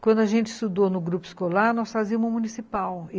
Quando a gente estudou no grupo escolar, nós fazíamos o municipal.